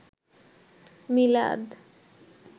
মিলাদ